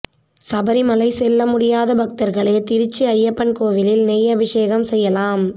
சபரிமலை செல்ல முடியாத பக்தர்களே திருச்சி ஐயப்பன் கோவிலில் நெய் அபிஷேகம் செய்யலாம்